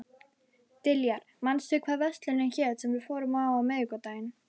Diljar, manstu hvað verslunin hét sem við fórum í á miðvikudaginn?